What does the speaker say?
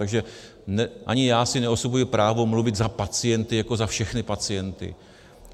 Takže ani já si neosvojuji právo mluvit za pacienty jako za všechny pacienty.